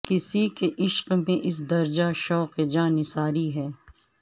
کسی کے عشق میں اس درجہ شوق جاں نثاری ہے